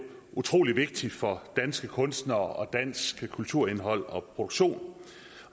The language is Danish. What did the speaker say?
utrolig vigtig for danske kunstnere og dansk kulturindhold og produktion